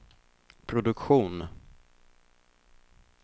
produktion